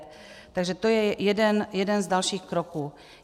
Takže to je jeden z dalších kroků.